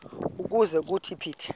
ukuze kuthi phithi